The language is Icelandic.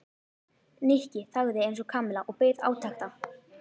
Nikki þagði eins og Kamilla og beið átekta.